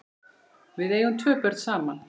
Við eigum tvö börn saman.